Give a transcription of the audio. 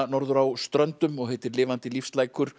norður á Ströndum og heitir lifandi